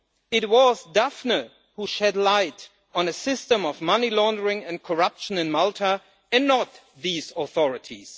It was Daphne who shed light on a system of money laundering and corruption in Malta, and not these authorities.